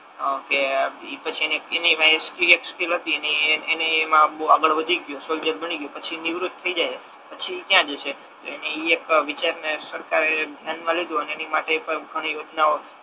આ કે ઇ પછી એની પાંહે એક સ્કી એક સ્કિલ હતી એની એ એમા બહુ આગળ વધી ગયો સોલ્જર બની ગયો પછી નિવૃત થઈ જાય પછી ઈ કયા જશે તો એની ઈ એક વિચાર ને સરકારે ધ્યાન મા લીધુ અને એની માટે બ ઘણી યોજનાઓ